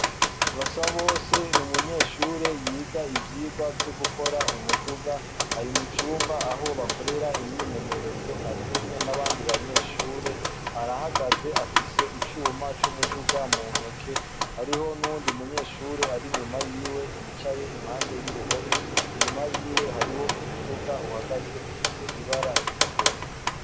Basabose n’umunyeshure yiga ivyigwa vyo gukora umuduga, ari mucumba aho bakorera imyimenyerezo arikumwe nabandi arahagaze afise icuma n’umuduga mu ntoke hariho nuyundi munyeshure ari inyuma yiwe yicaye impande y’uruhome inyuma yiwe hariho umuduga uhagaze ufise ibara ritukura.